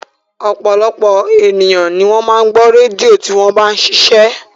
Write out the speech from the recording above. Ọ̀pọ̀lọpọ̀ ènìyàn ni ó máa ń gbọ́ rédíò tí wọ́n bá ń ṣiṣẹ́